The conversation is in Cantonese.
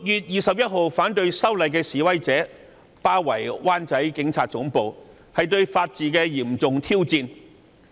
然而，反對修例的示威者於6月21日包圍灣仔警察總部，這是對法治的嚴重挑戰。